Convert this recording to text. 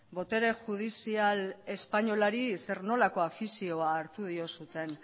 botere judizial espainolari zer nolako afizioa hartu diozuen